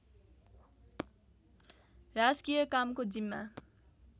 राजकीय कामको जिम्मा